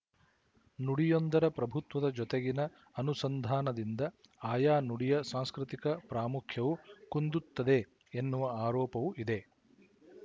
ನುಡಿಯೊಂದರ ಪ್ರಭುತ್ವದ ಜೊತೆಗಿನ ಅನುಸಂಧಾನದಿಂದ ಆಯಾ ನುಡಿಯ ಸಾಂಸ್ಕೃತಿಕ ಪ್ರಾಮುಖ್ಯವು ಕುಂದುತ್ತದೆ ಎನ್ನುವ ಆರೋಪವು ಇದೆ